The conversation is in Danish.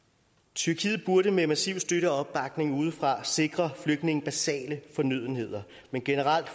tyrkiet burde med massiv støtte og opbakning udefra sikre flygtninge basale fornødenheder men generelt